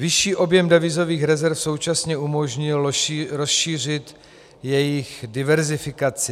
Vyšší objem devizových rezerv současně umožnil rozšířit jejich diverzifikaci.